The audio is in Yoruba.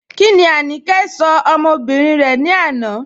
Kíni Áníkẹ̀ ṣọ̀ ọmọ́bìrín rẹ̀ ni àná?